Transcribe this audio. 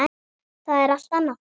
Það er allt annað.